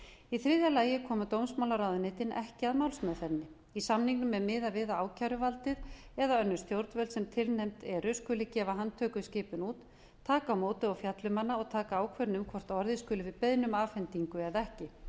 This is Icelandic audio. í þriðja lagi er dómsmálaráðuneytunum ekki blandað í málsmeðferðina í samningnum er miðað við að ákæruvaldið eða önnur stjórnvöld sem tilnefnd eru skuli gefa handtökuskipun út taka á móti og fjalla um hana og taka ákvörðun um hvort orðið skuli við beiðni um afhendingu eða ekki